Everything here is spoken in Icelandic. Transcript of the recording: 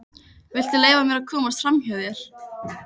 Viltu leyfa mér að komast framhjá þér!